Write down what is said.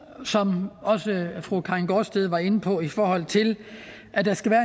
som også fru karin gaardsted var inde på i forhold til at der skal være